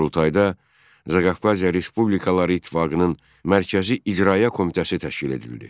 Qurultayda Zaqafqaziya Respublikaları ittifaqının mərkəzi icraiyyə komitəsi təşkil edildi.